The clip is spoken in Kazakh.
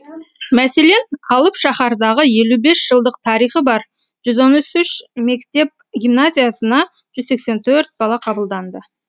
мәселен алып шаһардағы елу бес жылдық тарихы бар жүз он үш мектеп гимназиясына жүз сексен төрт бала қабылданды